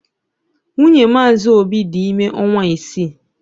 Nwunye Mazi obi dị ime ọnwa isii..